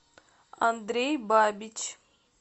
андрей бабич